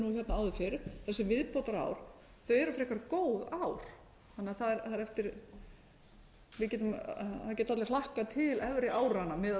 áður fyrr þessi viðbótarár eru frekar góð ár þannig að það geta allir hlakkað til efri áranna miðað